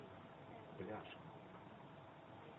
пляж